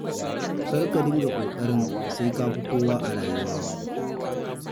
Kar ka dinga ƙoƙarin sai ka fi kowa a rayuwa.